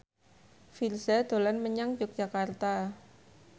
Virzha dolan menyang Yogyakarta